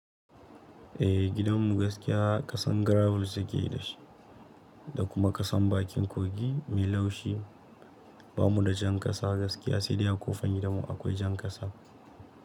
Eh gidanmu gaskiya kasan gravel suke yi da shi, da kuma kasan bakin kogi mai laushi. Ba mu da jan ƙasa gaskiya sai dai a kofan gidanmu akwai jan ƙasa.